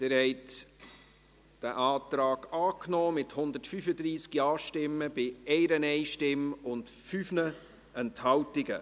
Sie haben den Antrag angenommen, mit 135 Ja-Stimmen bei 1 Nein-Stimme und 5 Enthaltungen.